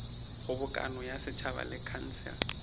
kgobokano ya setšhaba le khansele